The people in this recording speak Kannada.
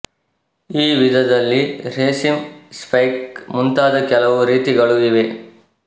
ಈ ವಿಧದಲ್ಲಿ ರೇಸೀಮ್ ಸ್ಪೈಕ್ ಮುಂತಾದ ಕೆಲವು ರೀತಿಗಳೂ ಇವೆ